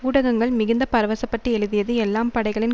ஊடகங்கள் மிகுந்த பரவசப்பட்டு எழுதியது எல்லாம் படைகளின்